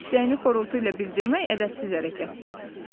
İstəyini xorultu ilə bildirmək ədəbsiz hərəkətdir.